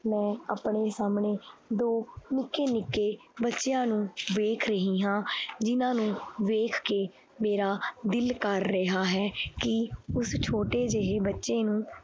ਮੈਂ ਆਪਣੇ ਸਾਹਮਣੇ ਦੋ ਨਿੱਕੇ ਨਿੱਕੇ ਬੱਚਿਆਂ ਨੂੰ ਵੇਖ ਰਹੀ ਹਾਂ ਜਿਹਨਾਂ ਨੂੰ ਵੇਖ ਕੇ ਮੇਰਾ ਦਿਲ ਕਰ ਰਿਹਾ ਹੈ ਕਿ ਉਸ ਛੋਟੇ ਜਿਹੇ ਬੱਚੇ ਨੂੰ